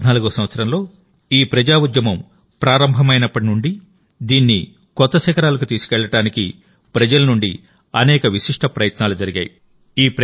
2014వ సంవత్సరంలో ఈ ప్రజాఉద్యమం ప్రారంభమైనప్పటి నుండిదీన్ని కొత్త శిఖరాలకు తీసుకెళ్లడానికి ప్రజల నుండి అనేక విశిష్ట ప్రయత్నాలు జరిగాయి